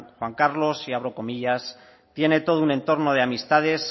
juan carlos y abro comillas tiene todo un entorno de amistades